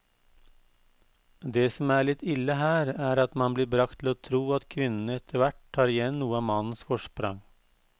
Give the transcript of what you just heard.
Det som er litt ille her, er at man blir bragt til å tro at kvinnene etterhvert tar igjen noe av mannens forsprang.